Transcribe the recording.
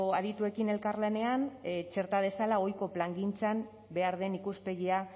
adituekin elkarlanean txerta dezala ohiko plangintzan behar den ikuspegia